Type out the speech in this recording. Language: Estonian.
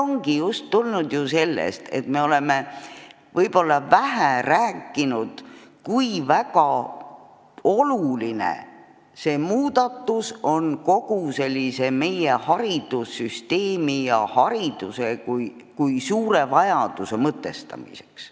Need ongi tulnud sellest, et me oleme ehk vähe rääkinud, kui oluline on üks või teine muudatus selle mõtestamiseks, kui väga vajalik on haridus, kui vajalik on kogu haridussüsteem.